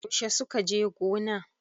Yaushe suka je gona?